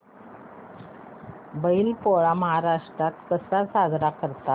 बैल पोळा महाराष्ट्रात कसा साजरा करतात